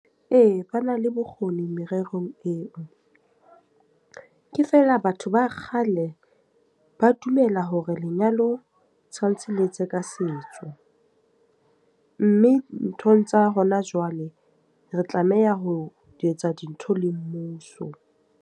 Ee, ba na le bokgoni mererong eo. Ke feela batho ba kgale ba dumela hore lenyalo tshwantshe le etswe ka setso. Mme nthong tsa hona jwale, re tlameha ho etsa dintho le mmuso.